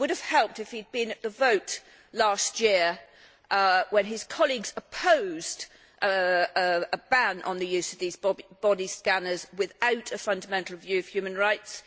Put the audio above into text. It would have helped if he had been at the vote last year when his colleagues opposed a ban on the use of these body scanners without a fundamental review of human rights.